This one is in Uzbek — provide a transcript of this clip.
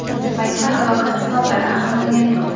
Ayni paytda halokat sabablari aniqlangani yo‘q.